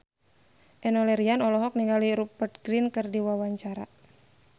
Enno Lerian olohok ningali Rupert Grin keur diwawancara